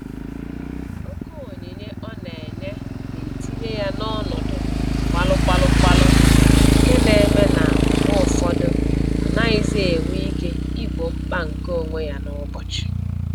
Oke onyinye ọ na-enye na-etinye ya n’ọnọdụ gbalụ gbalụ gbalụ nke na-eme na mgbe ụfọdụ ọ naghịzi enwe ike igbo mkpa nke onwe ya n'ụbọchị.